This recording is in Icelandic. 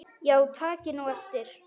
Já takið nú eftir.